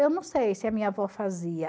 Eu não sei se a minha avó fazia.